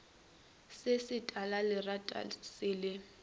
se se talalerata se le